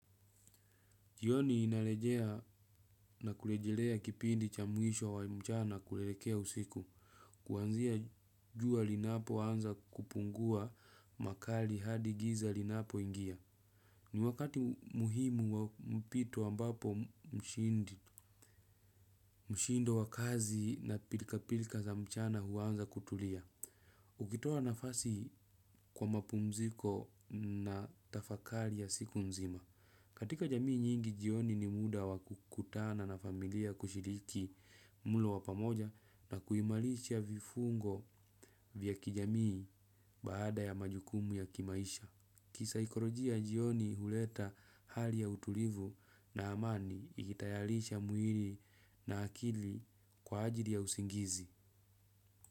Jioni inalejea na kulejelea kipindi cha mwisho wa mchana kuelekea usiku. Kuanzia jua linapoanza kupungua makali hadi giza linapo ingia. Ni wakati muhimu wa mpito a mbapo mshindi mshindo wa kazi na pilka pilka za mchana huanza kutulia. Ukitoa nafasi kwa mapumziko na tafakali ya siku nzima. Katika jamii nyingi, jioni ni muda wakukutana na familia kushiriki mulo wa pamoja na kuimalisha vifungo vya kijamii baada ya majukumu ya kimaisha. Kisaikorojia, jioni huleta hali ya utulivu na amani ikitayalisha mwili na akili kwa ajili ya usingizi.